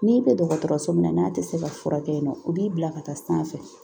N'i bɛ dɔgɔtɔrɔso min na n'a tɛ se ka furakɛ yen nɔ o b'i bila ka taa sanfɛ